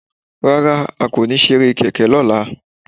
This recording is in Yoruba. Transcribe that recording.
Rárá, a kò ní ṣeré kẹ̀kẹ́ lọ́la